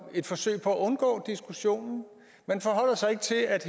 et forsøg på at undgå diskussionen man forholder sig ikke til at